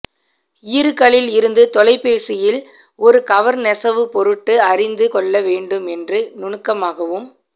ஈறுகளில் இருந்து தொலைபேசியில் ஒரு கவர் நெசவு பொருட்டு அறிந்து கொள்ள வேண்டும் என்று நுணுக்கமாகவும்